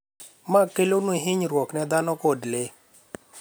ma kelonu hinyruok ne dhano kod le,